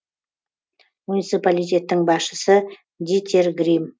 муниципалитеттің басшысы дитер грим